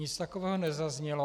Nic takového nezaznělo.